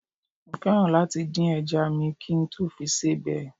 Mo fẹ́ràn láti dín ẹja à mi kí n tó fi sebẹ̀